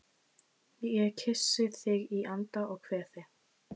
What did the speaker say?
Ég kyssi þig í anda og kveð þig